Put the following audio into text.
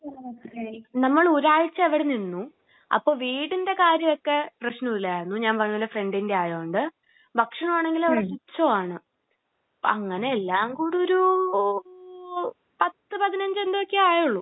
നമ്മൾ ഒരാഴ്ച അവിടെ നിന്നു. അപ്പോ വീടിന്റെ കാര്യം ഒക്കെ പ്രശ്നം ഇല്ലായിരുന്നു. ഞാൻ പറഞ്ഞില്ലേ ഫ്രണ്ടിന്റെ ആയത് കൊണ്ട്. ഭക്ഷണം ആണെങ്കില് അവിടെ തുച്ഛമാണ്. അപ്പോ അങ്ങനെ എല്ലാം കൂടി ഒരു പത്ത് പതിനഞ്ച് എന്തോ ഒക്കെ ആയുള്ളൂ.